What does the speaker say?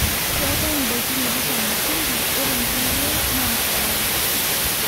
keetae ndaiki naishamu shumbi ore nkulie naa sukari